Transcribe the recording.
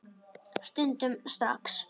Stundum strax.